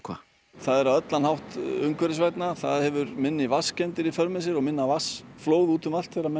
það er á allan hátt umhverfisvænna það hefur minni vatnskemmdir í för með sér og minna vatnsflóð út um allt þegar menn